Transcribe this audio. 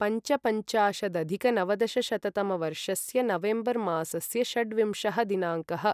पञ्चपञ्चाशदधिकनवदशशततमवर्षस्य November मासस्य षड्विंशः दिनाङ्कः